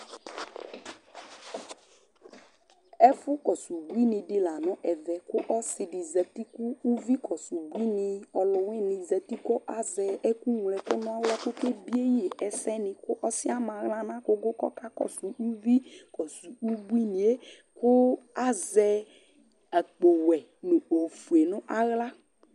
Ɛfʊ kɔsʊ ʊbʊɩnɩ dɩ la nʊ ɛmɛ Kʊ ɔsi dɩ zetɩ kʊ ʊvɩ kɔsʊ ʊbuɩnɩ ɔlʊ wɩnɩ zetɩ kʊ lazɛ ɛkʊ ŋlo ɛkʊ nʊ aɣla Kʊ ɔke bɩe yɩ ɛsɛnɩ Kʊ ɔsɩɛ lama aɣla nʊ agʊgʊ kʊ ɔka kɔsʊ uvɩ kɔsʊ ʊbʊɩnɩe Kʊ lazɛ akpo wɛ nʊ ofoe nʊ aɣla